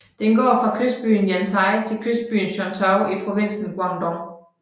Den går fra kystbyen Yantai til kystbyen Shantou i provinsen Guangdong